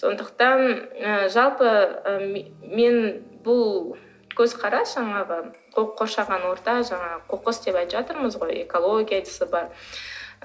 сондықтан ы жалпы ы мен бұл көзқарас жаңағы қоршаған орта жаңағы қоқыс деп айтып жатырмыз ғой экология дейсіз бе